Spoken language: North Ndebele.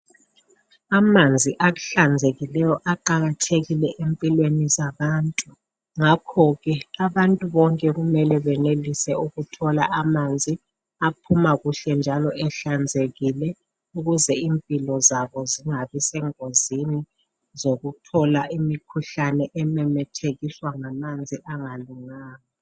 Amanzi ahlanzekileyo aqakathekile empilweni zabantu ngakho ke abantu bonke kumele benelise ukuthola amanzi aphuma kuhle njalo ehlanzekile ukuze impilo zabo zingabi sengozini zokuthola imikhuhlane ememethekiswa ngamanzi angalunganga.